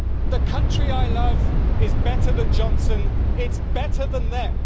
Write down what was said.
The country I love is better than Johnson, it's better than them.